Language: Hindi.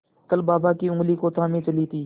कल बाबा की ऊँगली को थामे चली थी